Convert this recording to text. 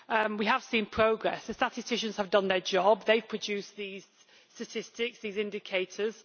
We have seen progress and statisticians have done their job they produced these statistics, these indicators.